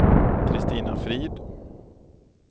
Kristina Frid